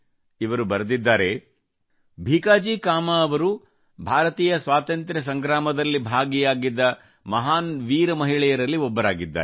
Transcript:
ಇವರು ಬರೆದಿದ್ದಾರೆ ಭೀಕಾಜಿಕಾಮಾ ಅವರು ಭಾರತೀಯ ಸ್ವಾತಂತ್ರ್ಯ ಸಂಗ್ರಾಮದಲ್ಲಿ ಭಾಗಿಯಾಗಿದ್ದ ಮಹಾನ್ ವೀರ ಮಹಿಳೆಯರಲ್ಲಿ ಒಬ್ಬರಾಗಿದ್ದಾರೆ